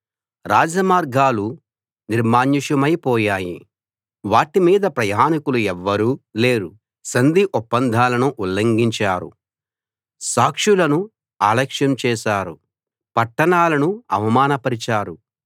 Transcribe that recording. రాజమార్గాలు నిర్మానుష్యమై పోయాయి వాటి మీద ప్రయాణీకులు ఎవ్వరూ లేరు సంధి ఒప్పందాలను ఉల్లంఘించారు సాక్షులను అలక్ష్యం చేశారు పట్టణాలను అవమానపరిచారు